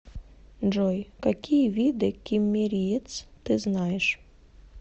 джой какие виды киммериец ты знаешь